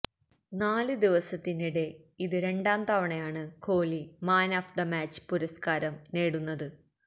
നാല് ദിവസത്തിനിടെ ഇത് രണ്ടാം തവണയാണ് Kohli man of the match പുരസ്ക്കാരം നേടുന്നത്